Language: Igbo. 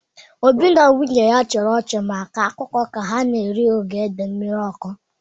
Obi na nwunye ya chịrị ọchị ma kọọ akụkọ ka ha na-eri ogede mmiri ọkụ.